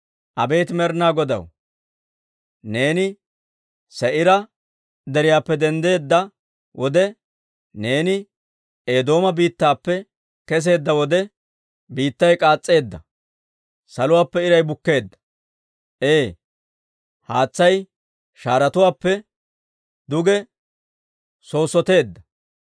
Abeet Med'inaa Godaw, neeni Se'iira Deriyaappe denddeedda wode, Neeni Eedooma biittaappe kesseedda wode, biittay k'aas's'eedda. Saluwaappe iray bukkeedda; ee, haatsay shaaretuwaappe duge soosoteedda.